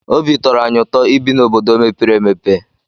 Obi tọrọ anyị ụtọ ibi n'obodo mepere emepe.